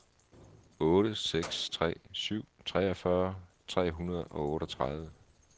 otte seks tre syv treogfyrre tre hundrede og otteogtredive